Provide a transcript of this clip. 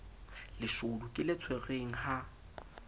leshodu ke le tshwerweng ha